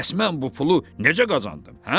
Bəs mən bu pulu necə qazandım, hə?